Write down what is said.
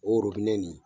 O re nin